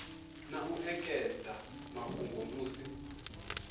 na u ekedza mafhungo musi